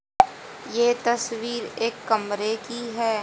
ये तस्वीर एक कमरे की है।